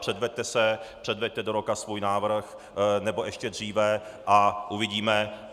Předveďte se, předveďte do roka svůj návrh, nebo ještě dříve, a uvidíme.